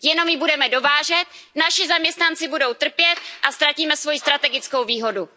Jenom ji budeme dovážet, naši zaměstnanci budou trpět a ztratíme svoji strategickou výhodu.